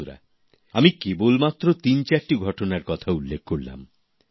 বন্ধুরা আমি কেবল মাত্র তিনচারটি ঘটনার কথা উল্লেখ করলাম